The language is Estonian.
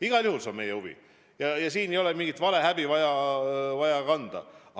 Igal juhul see on meie huvi ja siin ei ole vaja tunda mingit valehäbi.